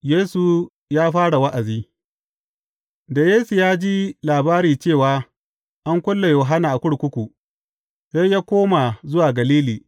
Yesu ya fara wa’azi Da Yesu ya ji labari cewa an kulle Yohanna a kurkuku, sai ya koma zuwa Galili.